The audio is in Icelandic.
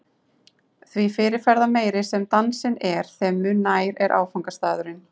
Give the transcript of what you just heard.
Því fyrirferðarmeiri sem dansinn er, þeim mun nær er áfangastaðurinn.